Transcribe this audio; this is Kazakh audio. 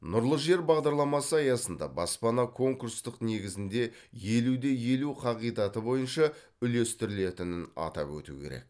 нұрлы жер бағдарламасы аясында баспана конкурстық негізінде елу де елу қағидаты бойынша үлестірілетінін атап өту керек